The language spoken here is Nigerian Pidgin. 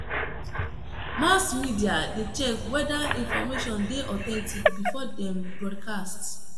Mass media de check whether information de authentic before dem broadcast